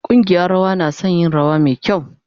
Kungiyan rawa na sun yi rawa mai kyau.